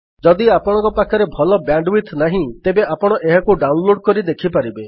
ଯଦି ଆପଣଙ୍କ ପାଖରେ ଭଲ ବ୍ୟାଣ୍ଡୱିଡଥ୍ ନାହିଁ ତେବେ ଆପଣ ଏହାକୁ ଡାଉନଲୋଡ୍ କରି ଦେଖିପାରିବେ